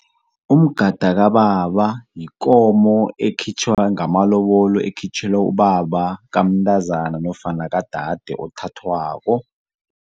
Umgada kababa yikomo ekhitjhwa ngamalobolo ekhitjhelwa ubaba kamntazana nofana kadade othathwako.